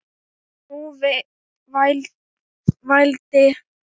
Og nú vældi